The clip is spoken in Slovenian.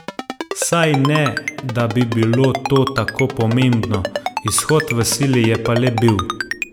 Saj ne, da bi bilo to tako pomembno, izhod v sili je pa le bil.